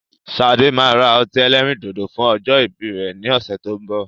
Sade máa ra ọtí ẹlẹ́rìndòdò fún ọjọ́ ìbí rẹ ni ọ̀sẹ̀ tó ń bọ̀